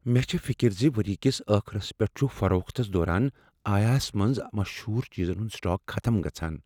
مےٚ چھ فکر ز ؤرۍ یہ کس ٲخرس پیٹھ چھ فروختس دوران آیکیا ہس منز مشہور چیزن ہند سٹاک ختم گژھان۔